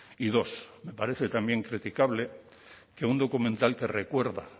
y dos me parece también criticable que un documental que recuerda